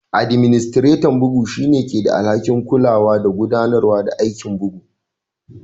Administretan bugu shine ke da alhaki'n kulawa da gudanarwa aikin bugu.